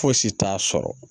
Fosi t'a sɔrɔ